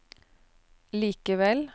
likevel